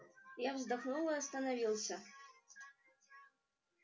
я вздохнул и остановился